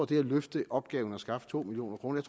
det at løfte opgaven og skaffe to million kroner